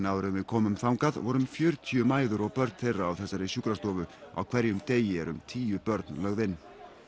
áður en við komum þangað voru um fjörutíu mæður og börn þeirra á þessari sjúkrastofu á hverjum degi eru um tíu börn lögð inn